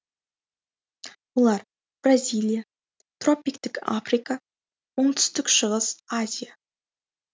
олар бразилия тропиктік африка оңтүстік шығыс азия